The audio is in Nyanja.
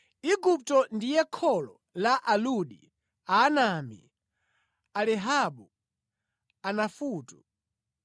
Igupto ndiye kholo la Aludi, Aanami, Alehabu, Anafutu,